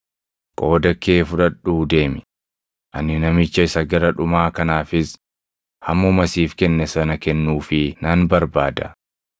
Qooda kee fudhadhuu deemi; ani namicha isa gara dhumaa kanaafis hammuma siif kenne sana kennuufii nan barbaada.